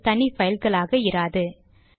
அவை தனி பைல்களாக இராது